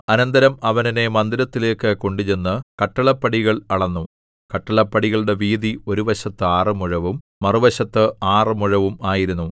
അനന്തരം അവൻ എന്നെ മന്ദിരത്തിലേക്കു കൊണ്ടുചെന്ന് കട്ടിളപ്പടികൾ അളന്നു കട്ടിളപ്പടികളുടെ വീതി ഒരു വശത്ത് ആറ് മുഴവും മറുവശത്ത് ആറ് മുഴവും ആയിരുന്നു